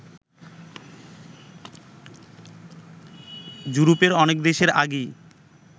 য়ুরোপের অনেক দেশের আগেই